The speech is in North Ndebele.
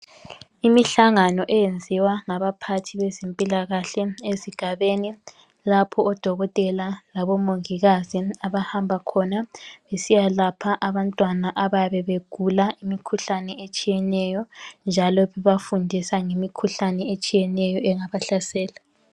Imihlangano eyenziwa ngabaphathi beze mpilakahle esigabeni lapha odokotela labomongikazi abahamba khona besiyalapha abantwana abayabe begula imikhuhlane etshiyeneyo njalo beba fundisa ngemikhuhlane etshiyeneyo engaba halsela.